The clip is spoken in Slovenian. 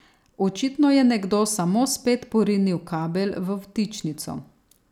Očitno je nekdo samo spet porinil kabel v vtičnico.